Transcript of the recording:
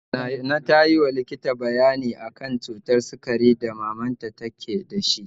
Nana tayi wa likita bayani akan cutar sikari da mamanta ke dashi